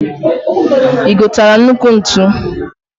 I gotara nnukwu ntu?